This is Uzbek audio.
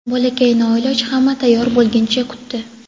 Bolakay noiloj hamma tayyor bo‘lguncha kutdi.